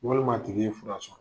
Walima a tigi ye fura sɔrɔ.